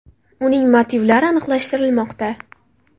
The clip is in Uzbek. Uning motivlari aniqlashtirilmoqda.